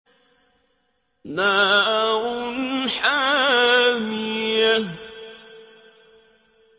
نَارٌ حَامِيَةٌ